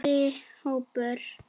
Eldri hópur